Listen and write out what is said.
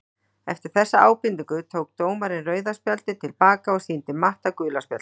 Eftir þessa ábendingu tók dómarinn rauða spjaldið til baka og sýndi Matt gula spjaldið!